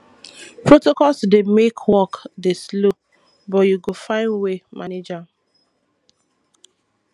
protocols dey make work dey slow but you go find way manage am